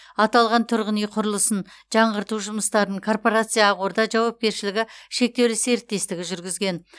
аталған тұрғын үй құрылысын жаңғырту жұмыстарын корпорация ақорда жауапкершілігі шектеулі серіктестігі жүргізген